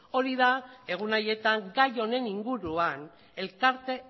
hori da egun haietan gai honen inguruan elkarte